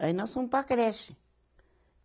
Aí nós fomos para a creche.